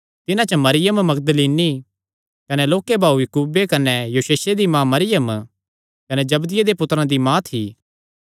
तिन्हां च मरियम मगदलीनी कने लोक्के भाऊ याकूबे कने योसेसे दी माँ मरियम कने जबदिये दे पुत्तरां दी माँ थी